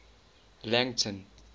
langton